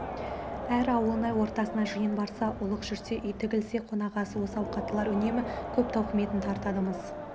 әр ауылнай ортасына жиын барса ұлық жүрсе үй тігілсе қонағасы осы ауқаттылар үнемі көп тауқыметін тартады-мыс